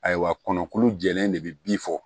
Ayiwa kɔnlu jɛlen de bɛ bin fɔ